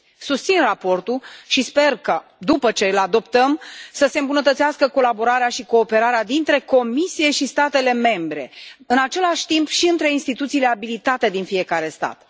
Susțin raportul și sper că, după ce îl adoptăm, să se îmbunătățească colaborarea și cooperarea dintre Comisie și statele membre, în același timp și între instituțiile abilitate din fiecare stat.